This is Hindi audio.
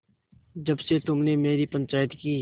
जब से तुमने मेरी पंचायत की